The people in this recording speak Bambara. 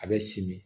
A bɛ simi